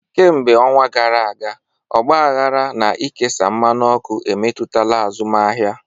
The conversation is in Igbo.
Kemgbe ọnwa gara aga, ọgbaghara na ikesa mmanụ ọkụ emetụtala azụmaahịa.